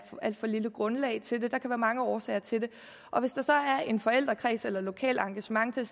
alt for lille grundlag til den der kan være mange årsager til det er en forældrekreds eller et lokalt engagement der